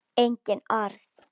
Engin orð.